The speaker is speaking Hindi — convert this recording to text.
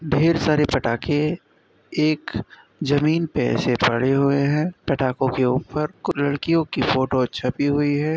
ढेर सारे पटाखे एक जमीन पे ऐसे पड़े हुए हैं। पटाखो के ऊपर कुछ लड़कियों की फोटो छपी हुई है।